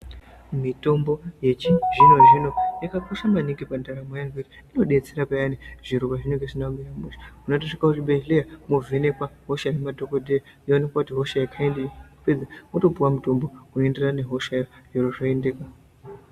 Mitombo yechizvino zvino yakakosha maningi pandaramo yevanthu, inodetsera peyani zviro pezvinenge zvisina kumira mushe. Munotosvika kuzvibhedhleya movhenekwa hosha ngemadhokodheya zvoonekwa kuti ihosha yekhayindii wopedza wotopuwa mutombo unonderana nehoshayo zviro zvotoendeka.